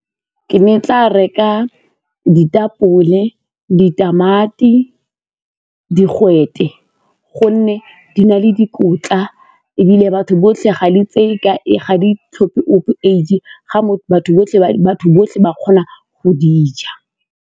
Ke ne ke tla reka ditapole, ditamati, digwete gonne di na le dikotla ebile batho botlhe ga di tlhophe ope age ga batho botlhe, batho botlhe ba kgona go di ja.